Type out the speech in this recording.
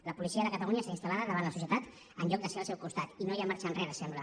la policia de catalunya està instal·en lloc de ser al seu costat i no hi ha marxa enrere sembla